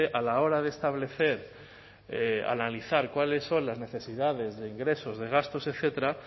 a la hora de establecer analizar cuáles son las necesidades de ingresos de gastos etcétera